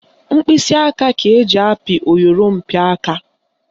Mkpịsịaka ka eji apị oyorompịaka